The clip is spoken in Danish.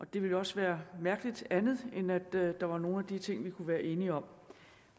det ville jo også være mærkeligt andet end at der var nogle af de ting vi kunne være enige om